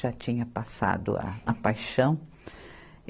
Já tinha passado a, a paixão.